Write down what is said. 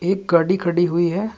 एक गाड़ी खड़ी हुई है।